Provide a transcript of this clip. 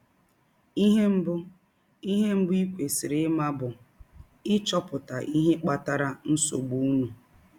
Ihe mbụ i Ihe mbụ i kwesịrị ime bụ ịchọpụta ihe kpatara nsọgbụ ụnụ.